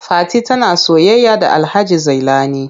Fati tana soyayya da Alhaji Zailani.